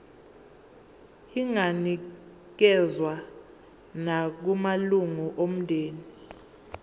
inganikezswa nakumalunga omndeni